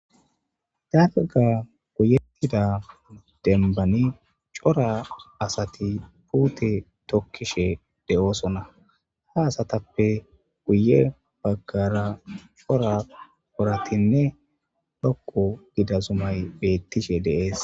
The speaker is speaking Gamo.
Dalgga goyyetida dembban cora asati puutte tokkishe de7osona ha asatappe guye baggara cora woratinne dhoqqu giida zumay bettishe de7es.